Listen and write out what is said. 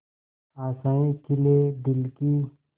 आशाएं खिले दिल की